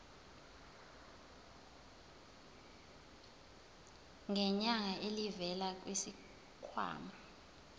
ngenyanga elivela kwisikhwama